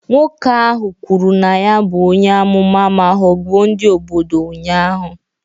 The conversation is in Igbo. Nwoke ahụ kwuru na ya bụ onye amụma ma ghọgbuo ndị obodo ụnyahụ